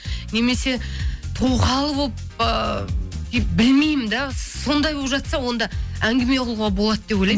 немесе тоқал болып ыыы білмеймін де сондай болып жатса онда әнгіме қылуға болады деп ойлаймын